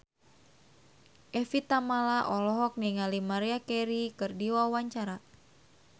Evie Tamala olohok ningali Maria Carey keur diwawancara